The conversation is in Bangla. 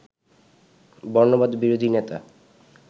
বর্ণবাদ বিরোধী নেতা